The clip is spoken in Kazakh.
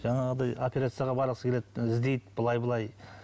жаңағыдай операцияға барғысы келеді іздейді былай былай